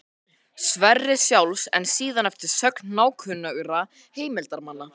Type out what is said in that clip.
Sverris sjálfs, en síðan eftir sögn nákunnugra heimildarmanna.